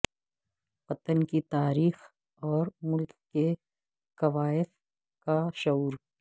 وطن کی تاریخ اور ملک کے کوائف کا شعور